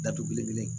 Datugule